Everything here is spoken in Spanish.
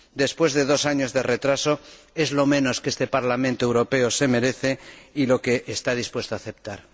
Después de dos años de retraso es lo menos que este Parlamento Europeo se merece y que está dispuesto a aceptar.